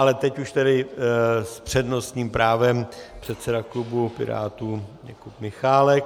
Ale teď už tedy s přednostním právem předseda klubu Pirátů Jakub Michálek.